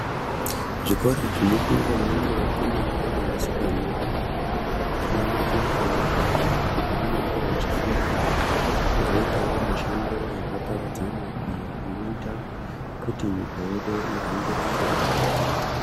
Zvikora zvinofundwa ngevakomana nevasikana anamai nanababa apo vanenge vachifundira kuzoitawo mishando yakaparadzana iyo inoita kuti nyika yedu ihambire mberi.